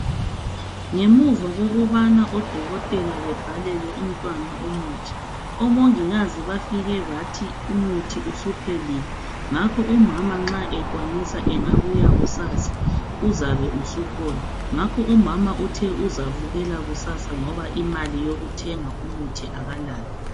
Ngemuva kokubana odokotela babhalele umntwana umuthi. Omongikazi bafike bathi umuthi usuphelile. Ngakho umama nxa ekwanisa engabuya kusasa uzabe usukhona . Ngakho umama uthe uzavukela kusasa ngoba imali yokuthenga umuthi akalayo..